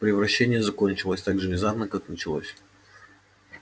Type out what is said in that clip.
превращение закончилось так же внезапно как началось